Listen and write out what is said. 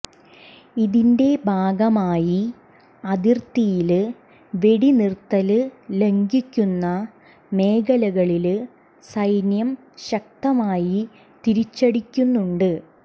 ഇതിന്റെ ഭാഗമായി അതിര്ത്തിയില് വെടിനിര്ത്തല് ലംഘിക്കുന്ന മേഖലകളില് സൈന്യം ശക്തമായി തിരിച്ചടിക്കുന്നുണ്ട്